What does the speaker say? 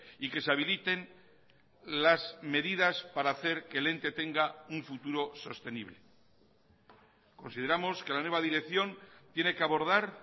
y que se habiliten las medidas para hacer que el ente tenga un futuro sostenible consideramos que la nueva dirección tiene que abordar